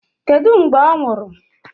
Kedụ mgbe ọ nwụrụ?